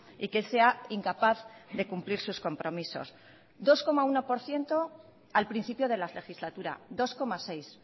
y que sea incapaz de cumplir sus compromisos dos coma uno por ciento al principio de la legislatura dos coma seis